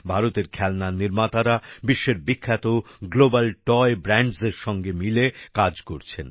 ভারতের খেলনা নির্মাতারা বিশ্বের বিখ্যাত গ্লোবাল টয় ব্র্যান্ডস এর সাথে মিলে কাজ করছেন